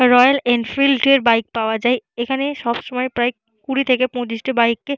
royal Enfield এর bike পাওয়া যায়এখানে সবসময় প্রায় কুড়ি থেকে পঁচিশটি বাইক কে--